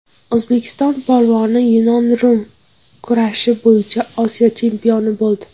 O‘zbek polvoni yunon-rum kurashi bo‘yicha Osiyo chempioni bo‘ldi.